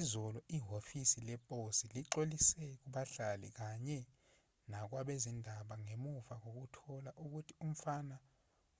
izolo ihhovisi leposi lixolisile kubahlali kanye nakwabezindaba ngemuva kokuthola ukuthi umfana